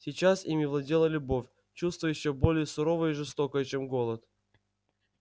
сейчас ими владела любовь чувство ещё более суровое и жестокое чем голод